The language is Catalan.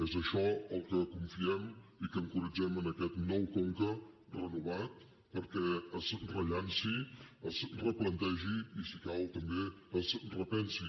és això el que confiem i al que encoratgem aquest nou conca renovat perquè es rellanci es replantegi i si cal també es repensi